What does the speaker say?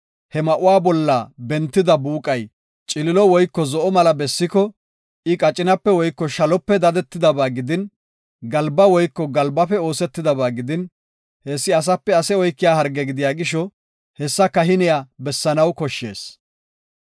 he ma7uwa bolla bentida buuqay ciliilo woyko zo7o mala bessiko, I qacinape woyko shalope dadetidaba gidin, galba woyko galbafe oosetidaba gidin, hessi asape ase oykiya harge gidiya gisho, hessa kahiney bessanaw koshshees.